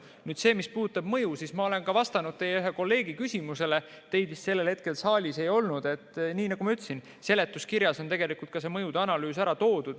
Selle kohta, mis puudutab mõju, ma olen ka vastanud ühe teie kolleegi küsimusele – teid vist sellel hetkel saalis ei olnud –, et seletuskirjas on mõjude analüüs ära toodud.